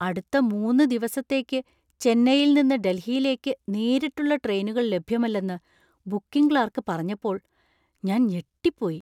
അടുത്ത മൂന്ന് ദിവസത്തേക്ക് ചെന്നൈയിൽ നിന്ന് ഡൽഹിയിലേക്ക് നേരിട്ടുള്ള ട്രെയിനുകൾ ലഭ്യമല്ലെന്ന് ബുക്കിംഗ് ക്ലാർക്ക് പറഞ്ഞപ്പോൾ ഞാൻ ഞെട്ടിപ്പോയി.